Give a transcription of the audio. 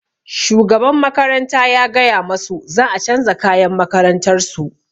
Shugaban makaranta ya gaya masu za a canza kayan makarantar su